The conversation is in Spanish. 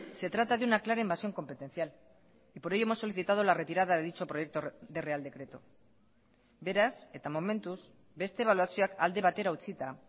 se trata de una clara invasión competencial y por ello hemos solicitado la retirada de dicho proyecto de real decreto beraz eta momentuz beste ebaluazioak alde batera utzita